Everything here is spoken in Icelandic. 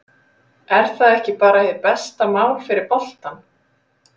Er það ekki bara hið besta mál fyrir boltann?